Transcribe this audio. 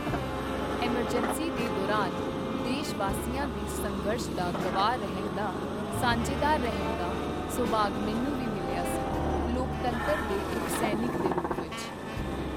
Emergency ਦੇ ਦੌਰਾਨ ਦੇਸ਼ ਵਾਸੀਆਂ ਦੇ ਸੰਘਰਸ਼ ਦਾ ਗਵਾਹ ਰਹਿਣ ਦਾ, ਸਾਂਝੇਦਾਰ ਰਹਿਣ ਦਾ ਸੁਭਾਗ ਮੈਨੂੰ ਵੀ ਮਿਲਿਆ ਸੀ, ਲੋਕਤੰਤਰ ਦੇ ਇੱਕ ਸੈਨਿਕ ਦੇ ਰੂਪ ਵਿੱਚ।